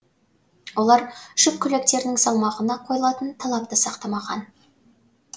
олар жүк көліктерінің салмағына қойылатын талапты сақтамаған